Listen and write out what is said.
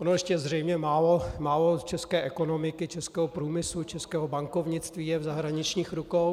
Ono ještě zřejmě málo české ekonomiky, českého průmyslu, českého bankovnictví je v zahraničních rukou.